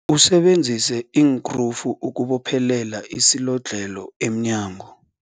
Usebenzise iinkrufu ukubophelela isilodlhelo emnyango.